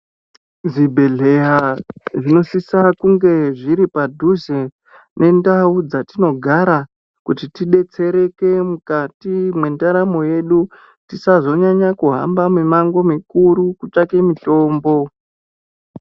Zvibhehleya zvinosisa kunge zviri padhuze nendau dzatinogara kuti tidetsereke mukati mwendaramo yedu tisazosise kuhamba mimango mikuru kutsvake mitombo.